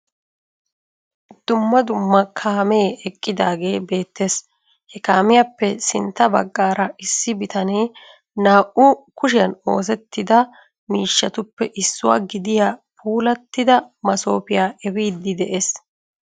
Dumma dumma kaamee eqqidaagee beettes. He kaamiyappe sinttan baggaara issi bitanee naa"u kushiyan oosettida miishshatuppe issuwa gidiya puulattida masoofiya efiiddi dees.